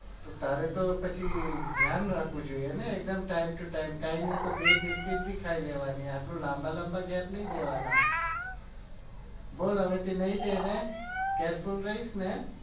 તો તારે તો પછી ધ્યાન રાખવું જોઈએ ને એકદમ time to time કઈ નહિ તો બે બિસ્કિટ भी ખાઈ લેવાની આટલા લાંબા લાંબા gap નહિ દેવાના બોલ હવેથી નહિ દે ને careful રહીશ ને